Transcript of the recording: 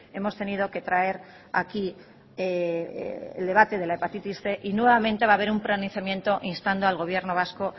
hemos tenido que traer aquí el debate de la hepatitis cien y nuevamente va a haber un pronunciamiento instando al gobierno vasco